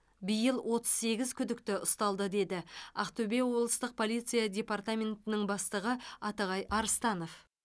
биыл отыз сегіз күдікті ұсталды деді ақтөбе облыстық полиция департаментінің бастығы атығай арыстанов